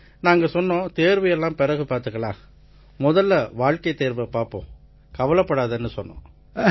நாங்க சொன்னோம் தேர்வு எல்லாம் பிறகு பார்த்துக்கலாம் முதல்ல வாழ்க்கைத் தேர்வை பார்ப்போம் கவலைப்படாதேன்னு சொன்னோம்